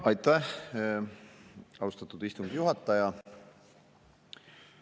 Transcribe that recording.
Aitäh, austatud istungi juhataja!